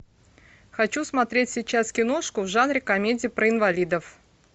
хочу смотреть сейчас киношку в жанре комедия про инвалидов